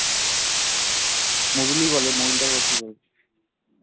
মবিলই বলে মবিলটাকে আবার কি বলবে